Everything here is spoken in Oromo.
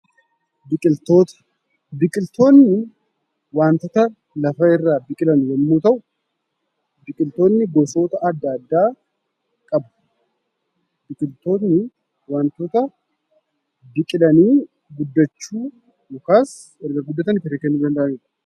Biqilootni waantota lafa irraa biqilan yommuu ta'u, biqiltootni gosoota adda addaa qabu. Biqiltoonni waantota biqilanii guddachuu yookaas erga guddatanii firii kennuu danda'an jechuudha.